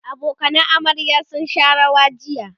abokanan amaryar sun Sha rawa jiya